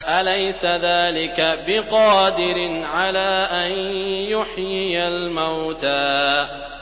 أَلَيْسَ ذَٰلِكَ بِقَادِرٍ عَلَىٰ أَن يُحْيِيَ الْمَوْتَىٰ